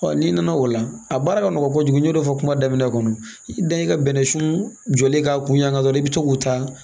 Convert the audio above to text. n'i nana o la a baara ka nɔgɔ kojugu n y'o fɔ kuma daminɛ kɔnɔ i da i ka bɛnɛsuli ka kun yanga dɔrɔn i bɛ to k'u ta